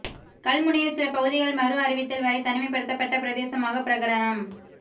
கல்முனையில் சில பகுதிகள் மறு அறிவித்தல் வரை தனிமைப்படுத்தப்பட்ட பிரதேசமாக பிரகடனம்